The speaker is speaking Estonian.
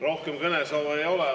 Rohkem kõnesoove ei ole.